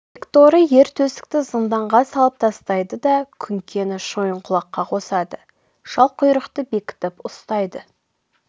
бекторы ер төстікті зынданға салып тастайды да күңкені шойынқұлаққа қосады шалқұйрықты бекітіп ұстайды